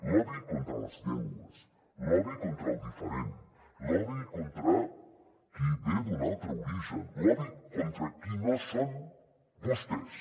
l’odi contra les llengües l’odi contra el diferent l’odi contra qui ve d’un altre origen l’odi contra qui no són vostès